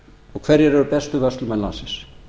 og hverjir eru bestu vörslumenn landsins